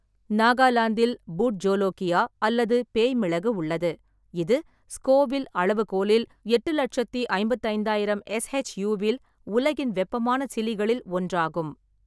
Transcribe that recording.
நாகாலாந்தில் பூட் ஜோலோகியா அல்லது பேய் மிளகு உள்ளது, இது ஸ்கோவில் அளவுகோலில் எட்டு லெட்சத்தி ஐம்பத்தைந்தாயிரம் எஸ்.ஹெச்.யு.வில் உலகின் வெப்பமான சிலிகளில் ஒன்றாகும்.